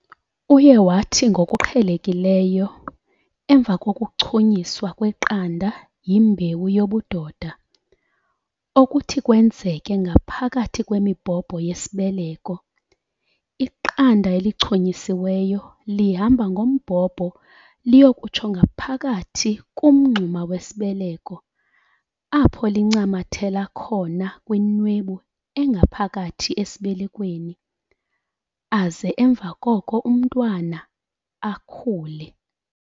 Uye wathi ngokuqhelekileyo, emva kokuchunyiswa kweqanda yimbewu yobudoda - okuthi kwenzeke ngaphakathi kwemibhobho yesibeleko, iqanda elichunyisiweyo lihamba ngombobho liyokutsho ngaphakathi kumngxuma wesibeleko apho lincamathela khona kwinwebu engaphakathi esibelekweni, aze emva koko umntwana akhule.